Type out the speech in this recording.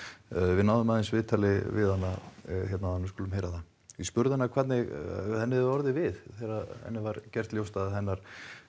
við náðum aðeins viðtali við hana hérna áðan við skulum heyra það ég spurði hana hvernig henni hefði orðið við þegar henni var gert ljóst að hennar